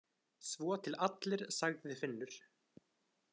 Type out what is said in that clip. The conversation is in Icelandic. Svo til allir, sagði Finnur.